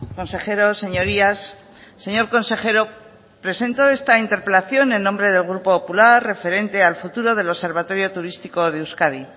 consejeros señorías señor consejero presento esta interpelación en nombre del grupo popular referente al futuro del observatorio turístico de euskadi